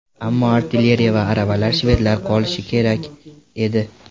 Ammo artilleriya va aravalar shvedlarda qolishi kerak edi.